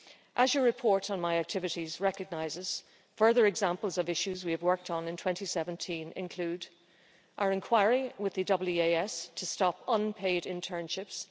As your report on my activities recognises, further examples of issues we have worked on in 2017 include our inquiry with the EEAS to stop unpaid internships.